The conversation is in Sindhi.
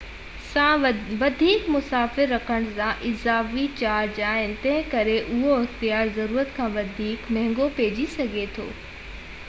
2 سان وڌيڪ مسافر رکڻ سان اضافي چارج آهي تنهنڪري اهو اختيار ضرورت کان وڌيڪ مهنگو پئجي سگهي ٿو